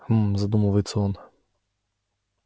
хмм задумывается он